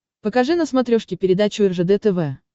покажи на смотрешке передачу ржд тв